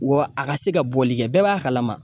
Wa a ka se ka bɔli kɛ, bɛɛ b'a kalama.